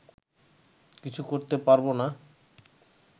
কিছু করতে পারবো না